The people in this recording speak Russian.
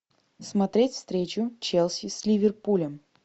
смотреть встречу челси с ливерпулем